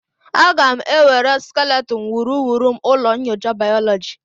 Aga m ewere skeleton wuruwuru m ụlọ nyocha bayoloji